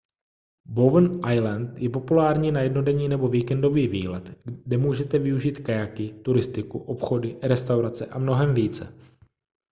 bowen island je populární na jednodenní nebo víkendový výlet kde můžete využít kajaky turistiku obchody restaurace a mnohem více